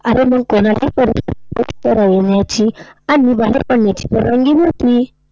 अरे मग कोणालाही आणि बाहेर पडण्याची परवानगी नव्हती?